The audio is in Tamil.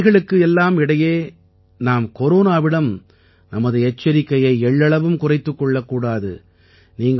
இந்தப் பணிகளுக்கிடையே நாம் கொரோனாவிடம் நமது எச்சரிக்கையை எள்ளளவும் குறைத்துக் கொள்ளக் கூடாது